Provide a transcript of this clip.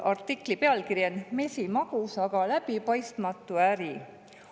Artikli pealkiri on "Mesimagus, aga läbipaistmatu äri ".